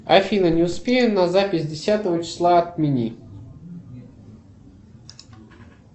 афина не успею на запись десятого числа отмени